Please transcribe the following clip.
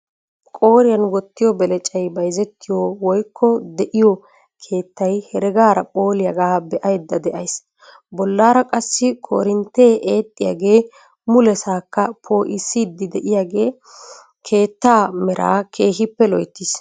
Qooriyaan wottiyoo belecay bayzzettiyoo woykko de'iyoo keettay heregaara phooliyaaga be'ayda de'ays. bollaara qassi korinttee eexxiyaagee mulesaakka po'iisiidi de'iyaagee keettaa meeraa keehippe loyttiis.